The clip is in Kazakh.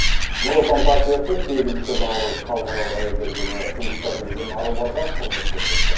нұр отан партиясы сегізінші наурыз халықаралық әйелдер күні жұмыста жүрген аруларға құрмет көрсетті